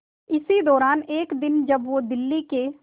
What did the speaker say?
इसी दौरान एक दिन जब वो दिल्ली के